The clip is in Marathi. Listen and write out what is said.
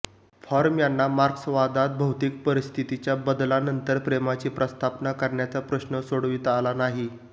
फ्रॉम यांना मार्क्सवादात भौतिक परिस्थितीच्या बदलानंतर प्रेमाची प्रस्थापना करण्याचा प्रश्न सोडविता आला नाही